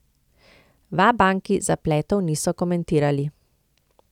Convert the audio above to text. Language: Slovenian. V Abanki zapletov niso komentirali.